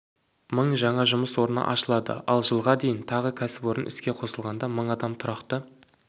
мың жаңа жұмыс орны ашылады ал жылға дейін тағы кәсіпорын іске қосылғанда мың адам тұрақты